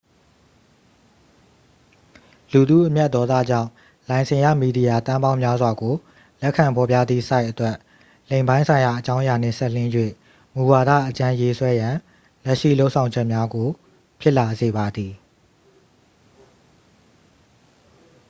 လူထုအမျက်ဒေါသကြောင့် လိုင်စင်ရ မီဒီယာ သန်းပေါင်းများစွာကို လက်ခံဖော်ပြသည့် ဆိုက်အတွက် လိင်ပိုင်းဆိုင်ရာ အကြောင်းအရာနှင့် စပ်လျဉ်း၍ မူဝါဒ အကြမ်းရေးဆွဲရန် လက်ရှိ လုပ်ဆောင်ချက်များကို ဖြစ်လာစေပါသည်